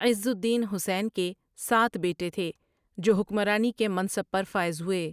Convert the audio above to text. عزالدین حسین کے سات بیٹے تھے جو حکمرانی کے منصب پر فائز ہوئے ۔